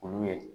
Olu ye